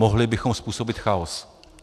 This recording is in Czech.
Mohli bychom způsobit chaos.